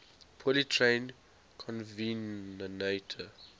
poorly trained covenanter